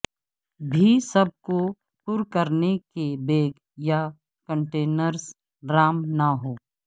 بھی سب کو پر کرنے کے بیگ یا کنٹینرز رام نہ ہو